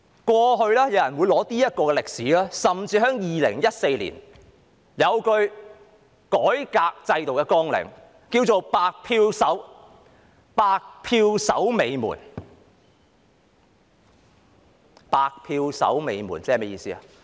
過去有人會借用這段歷史，甚至2014年有一句改革制度的綱領是"白票守尾門"，是甚麼意思呢？